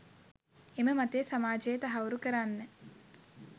එම මතය සමාජයේ තහවුරු කරන්න